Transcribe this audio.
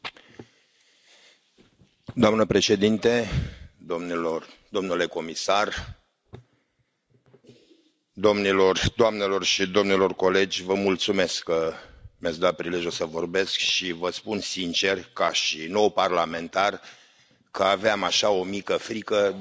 Doamnă președintă, domnule comisar, doamnelor și domnilor colegi, vă mulțumesc că mi ați dat prilejul să vorbesc și vă spun sincer, ca nou parlamentar, că aveam așa, o mică frică, de a rămâne singur în această